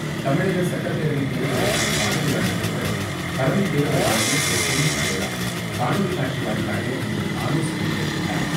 தமிழக சட்டப்பேரவைத் தேர்தலுக்கான பார்வையாளர்களுடன் தலைமைத்தேர்தல் ஆணையர் திருசுனில் அரோரா காணொலிகாட்சிவாயிலாக இன்று ஆலோசனை மேற்கொண்டார்.